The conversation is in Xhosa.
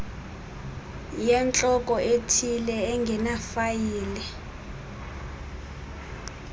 yentloko ethile engenafayile